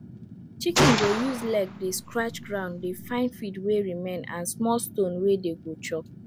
chicken go use leg dey scratch ground dey find feed wey remain and small stone wey dey go chop